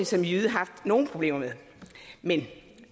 som jyde haft nogle problemer med men